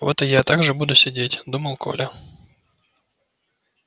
вот и я так же буду сидеть думал коля